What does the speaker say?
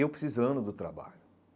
Eu precisando do trabalho.